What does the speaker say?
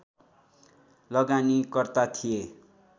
लगानीकर्ता थिए